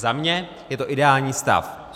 Za mě je to ideální stav.